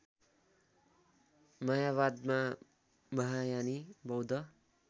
मायावादमा महायानी बौद्ध